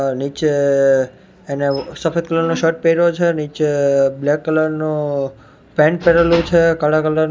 અ નીચે એને સફેદ કલર નો શર્ટ પહેરો છે નીચે બ્લેક કલર નુ પેન્ટ પહેરેલુ છે કાળા કલર --